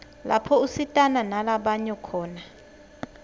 lapho usitana nala banyo khona